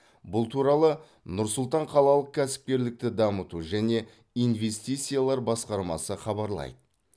бұл туралы нұр сұлтан қалалық кәсіпкерлікті дамыту және инвестициялар басқармасы хабарлайды